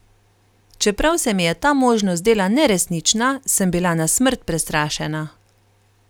Čeprav se mi je ta možnost zdela neresnična, sem bila na smrt prestrašena.